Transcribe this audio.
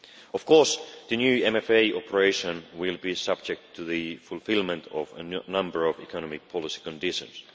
Of course, the new MFA operation will be subject to the fulfilment of a number of economic policy conditions.